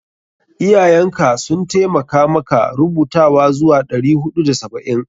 Iyayen ka sun taimakamaka rubutawa zuwa ɗari huɗu da saba'in?